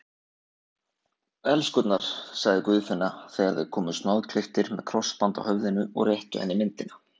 Elskurnar, sagði Guðfinna þegar þeir komu snoðklipptir með krossband á höfðinu og réttu henni myndina.